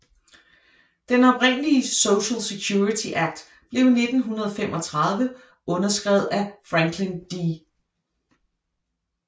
Den oprindelige Social Security Act blev i 1935 underskrevet af Franklin D